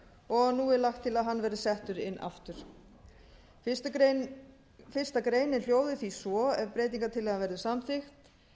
og nú er lagt til að hann verði settur inn aftur fyrstu grein hljóði því svo ef breytingartillagan verður samþykkt